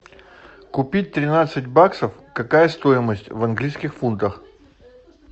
купить тринадцать баксов какая стоимость в английских фунтах